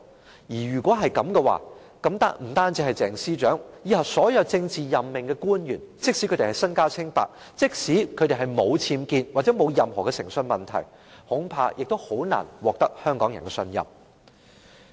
若然如此，不單是鄭司長，往後所有政治任命官員，即使身家清白，即使沒有僭建或誠信問題，恐怕亦難以獲得香港人的信任。